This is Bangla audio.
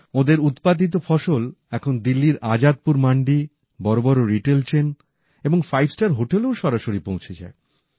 ওঁদের উৎপাদিত ফসল এখন দিল্লীর আজাদপুর মান্ডি বড় বড় রিটেল চেন এবং ফাইভ স্টার হোটেলেও সরাসরি পৌঁছে যায়